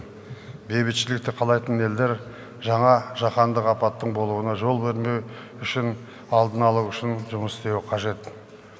бейбітшілікті қалайтын елдер жаңа жаһандық апаттың болуына жол бермеу үшін алдын алу үшін жұмыс істеуі қажет